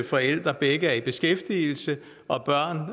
forældre begge er i beskæftigelse